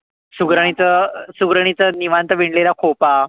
सुगरणीचा सुगरणीचा निवांत विणलेला खोपा,